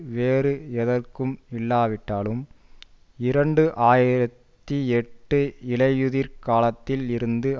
வேறு எதற்கும் இல்லாவிட்டாலும் இரண்டு ஆயிரத்தி எட்டு இலை யுதிர்காலத்தில் இருந்து